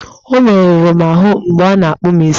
Ọmerụrụ m ahụ mgbe ọ na-akpụ m isi!